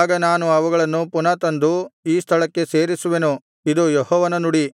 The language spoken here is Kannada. ಆಗ ನಾನು ಅವುಗಳನ್ನು ಪುನಃ ತಂದು ಈ ಸ್ಥಳಕ್ಕೆ ಸೇರಿಸುವೆನು ಇದು ಯೆಹೋವನ ನುಡಿ